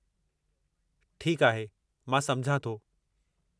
ठीकु आहे, मां समुझां थो।